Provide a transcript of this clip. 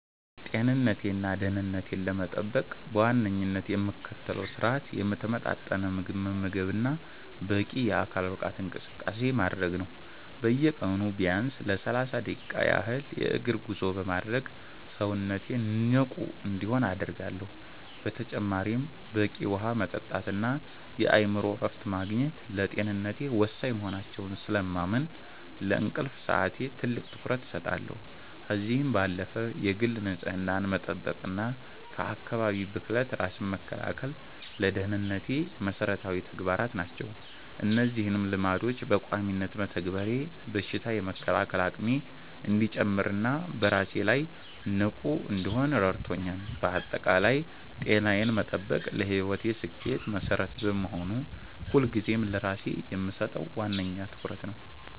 ጤንነቴንና ደህንነቴን ለመጠበቅ በዋነኝነት የምከተለው ስርአት የተመጣጠነ ምግብ መመገብና በቂ የአካል ብቃት እንቅስቃሴ ማድረግ ነው። በየቀኑ ቢያንስ ለሰላሳ ደቂቃ ያህል የእግር ጉዞ በማድረግ ሰውነቴ ንቁ እንዲሆን አደርጋለሁ። በተጨማሪም በቂ ውሃ መጠጣትና የአእምሮ እረፍት ማግኘት ለጤንነቴ ወሳኝ መሆናቸውን ስለማምን፣ ለእንቅልፍ ሰዓቴ ትልቅ ትኩረት እሰጣለሁ። ከዚህም ባለፈ የግል ንጽህናን መጠበቅና ከአካባቢ ብክለት ራስን መከላከል ለደህንነቴ መሰረታዊ ተግባራት ናቸው። እነዚህን ልማዶች በቋሚነት መተግበሬ በሽታ የመከላከል አቅሜ እንዲጨምርና በስራዬ ላይ ንቁ እንድሆን ረድቶኛል። ባጠቃላይ ጤናዬን መጠበቅ ለህይወቴ ስኬት መሰረት በመሆኑ፣ ሁልጊዜም ለራሴ የምሰጠው ዋነኛ ትኩረት ነው።